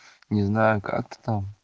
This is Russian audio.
не знаю как ты там